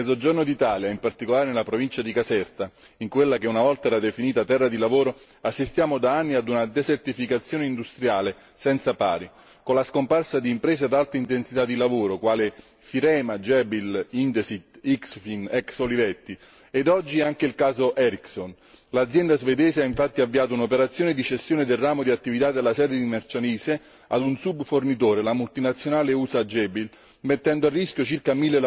Nel Mezzogiorno d'Italia, in particolare nella provincia di Caserta, in quella che una volta era definita terra di lavoro, assistiamo da anni a una desertificazione industriale senza pari, con la scomparsa di imprese ad alta intensità di lavoro quali Firema, Jabil, Indesit, Ixfin, ex Olivetti e oggi anche il caso Ericsson. L'azienda svedese ha infatti avviato un'operazione di cessione del ramo di attività della sede di Marcianise ad un subfornitore, la multinazionale USA Jabil, mettendo a rischio circa